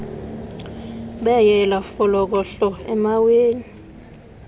beyela folokohlo emaweni